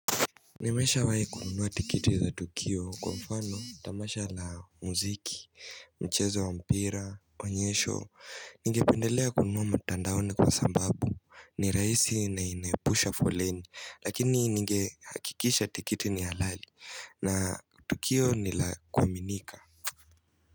Nimeshawai kununua tikiti za Tukio kwa mfano tamasha la muziki Mchezo wa mpira, onyesho Ningependelea kununua matandaoni kwa sababu ni rahisi na inaepusha foleni lakini ningehakikisha tikiti ni halali na Tukio nilakuaminika.